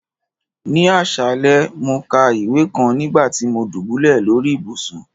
Ní ọ̀ṣalẹ̀, mo ká ìwé kàn nígbàtí mo dúbúlẹ̀ lórí ìbùṣún.